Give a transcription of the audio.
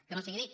que no sigui dit